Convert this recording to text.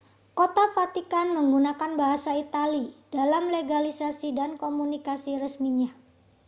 kota vatikan menggunakan bahasa italia dalam legislasi dan komunikasi resminya